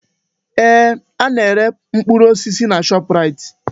Ee! Ana-ere mkpụrụ osisi na Shọpraịt.